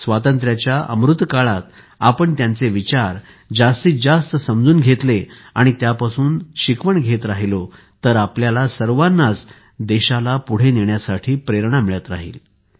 स्वातंत्र्याच्या अमृत काळात आपण दीनदयाळजींचे विचार जास्तीतजास्त समजून घेतले आणि त्यापासून शिकवण घेत राहिलो तर आपल्याला सर्वांनाच देशाला पुढे नेण्याची प्रेरणा मिळत राहिल